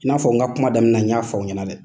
I n'a fɔ n ka kuma daminɛ n y'a fɔ aw ɲɛna dɛ